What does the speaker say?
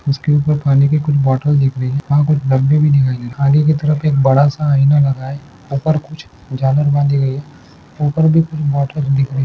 इसके ऊपर पानी के कुछ बॉटल भी दिख रही है। वहा कुछ बंदे भी दिखाई दे रहे है। आगे की तरफ एक बड़ा सा आइना लगा है। ऊपर कुछ झालर बंधी गई है। ऊपर भी कुछ बॉटल दिख रही है।